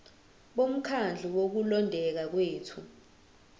bomkhandlu wokulondeka kwethu